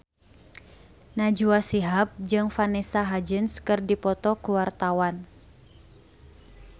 Najwa Shihab jeung Vanessa Hudgens keur dipoto ku wartawan